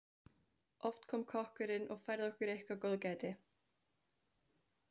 Oft kom kokkurinn og færði okkur eitthvert góðgæti.